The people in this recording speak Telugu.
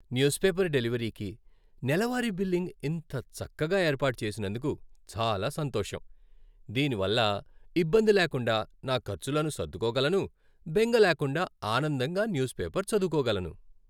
న్యూస్ పేపర్ డెలివరీకి నెలవారీ బిల్లింగ్ ఇంత చక్కగా ఏర్పాటు చేసినందుకు చాలా సంతోషం. దీనివల్ల ఇబ్బంది లేకుండా నా ఖర్చులను సర్దుకోగలను, బెంగ లేకుండా, ఆనందంగా న్యూస్ పేపర్ చదవుకోగలను.